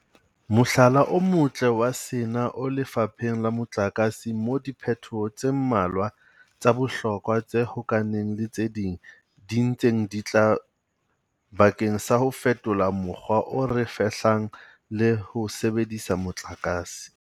Mohlala o motle wa sena o lefapheng la motlakase moo diphetoho tse mmalwa tsa bohlokwa tse hokahaneng le tse ding di ntseng di tla bakeng sa ho fetola mokgwa o re fehlang le ho sebedisa motlakase.